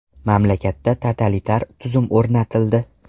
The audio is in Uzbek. Mamlakatda totalitar tuzum o‘rnatildi.